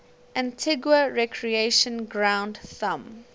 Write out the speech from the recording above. antigua recreation ground thumb